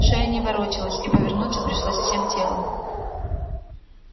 шея не ворочалась и повернуться пришлось всем телом